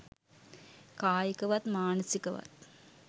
කායිකවත් මානසිකවත්.